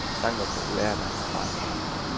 Sangen var populær, da han var barn.